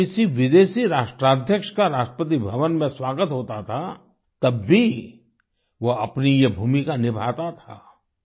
जब किसी विदेशी राष्ट्राध्यक्ष का राष्ट्रपति भवन में स्वागत होता था तब भी वो अपनी ये भूमिका निभाता था